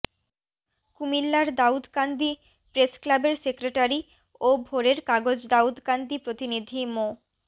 কুমিল্লার দাউদকান্দি প্রেসক্লাবের সেক্রেটারি ও ভোরের কাগজ দাউদকান্দি প্রতিনিধি মো